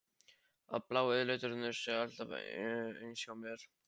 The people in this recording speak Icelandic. Að blái liturinn sé alltaf eins hjá mér?